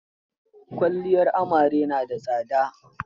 Kwalliyar amarya na da tsada.